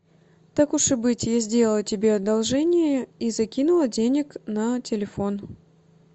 так уж и быть я сделала тебе одолжение и закинула денег на телефон